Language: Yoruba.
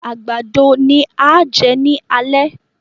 Àgbàdo ni a á jẹ ni alẹ́.